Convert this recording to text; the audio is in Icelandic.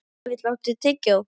Hnefill, áttu tyggjó?